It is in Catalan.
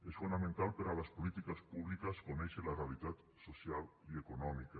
és fonamental per a les polítiques públiques conèixer la realitat social i econòmica